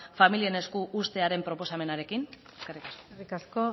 familien esku uztearen proposamenarekin eskerrik asko eskerrik asko